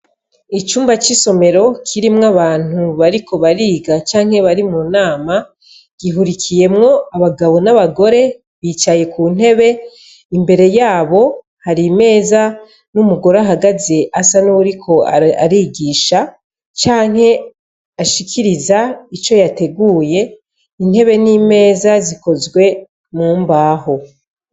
Icumba c'isomero kirimwo abantu bariko bariga canke bari mu nama gihurikiyemwo abagabo n'abagore bicaye ku ntebe imbere yabo hari meza n'umugore ahagaze asa n'uwuriko arigisha canke ashikiriza ico yategure ye intebe n'imeza zikozwe mu mbaho.